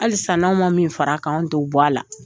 Halisa n'aw ma min fara kan an t'o bɔ a la.